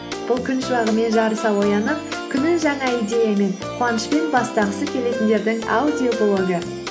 бұл күн шуағымен жарыса оянып күнін жаңа идеямен қуанышпен бастағысы келетіндердің аудиоблогы